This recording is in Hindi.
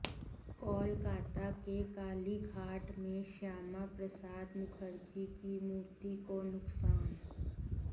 कोलकाता के कालीघाट में श्यामा प्रसाद मुखर्जी की मूर्ति को नुकसान